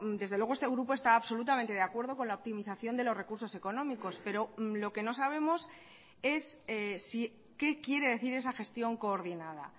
desde luego este grupo está absolutamente de acuerdo con la optimización de los recursos económicos pero lo que no sabemos es qué quiere decir esa gestión coordinada